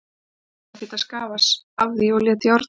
Þessi var ekkert að skafa af því og lét járna sig.